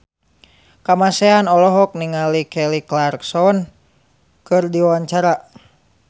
Kamasean olohok ningali Kelly Clarkson keur diwawancara